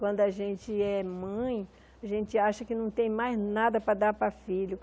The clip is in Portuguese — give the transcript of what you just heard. Quando a gente é mãe, a gente acha que não tem mais nada para dar para filho.